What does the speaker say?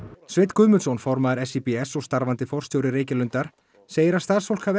Sveinn Guðmundsson formaður SÍBS og starfandi forstjóri Reykjalundar segir að starfsfólk hafi